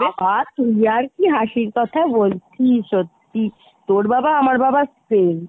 বাবা , তুই আর কি হাসির কথা বলছিস সত্যি তোর বাবা আমার বাবা same